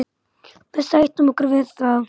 Við sættum okkur við það.